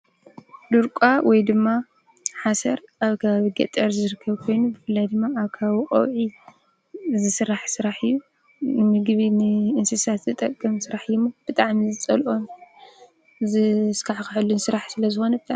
ድርቋ ወይ ድማ ሓሰር ኣብ ከባቢ ገጠር ዝርከብ ኮይኑ ብፍላይ ድማ ኣብ ከባቢ ቀውዒ ዝስራሕ ስራሕ እዩ። ንምግቢ ንእንስሳ ዝጠቅም ስራሕ እዩ እሞ ብጣዕሚ ዝፀልኦ ዝስካሕክሐሉ ስራሕ ስለዝኾነ